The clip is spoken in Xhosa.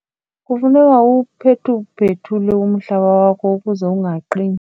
Kufuneka uwuphethuphethule umhlaba wakho ukuze ungaqini.